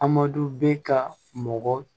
Amadu bɛ ka mɔgɔ